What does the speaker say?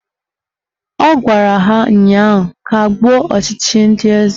Ọ gwara ha ụnyaahụ "Kagbuo ọchịchị ndị eze"